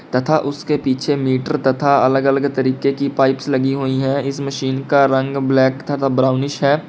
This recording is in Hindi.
तथा उसके पीछे मीटर तथा अलग अलग तरीके की पाइप्स लगी हुई हैं इस मशीन का रंग ब्लैक तथा ब्राउनिश है।